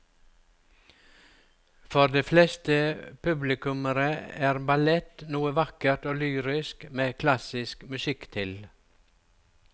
For de fleste publikummere er ballett noe vakkert og lyrisk med klassisk musikk til.